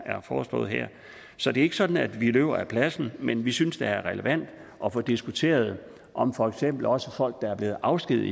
foreslået her så det er ikke sådan at vi løber af pladsen men vi synes det er relevant at få diskuteret om for eksempel også folk der er blevet afskediget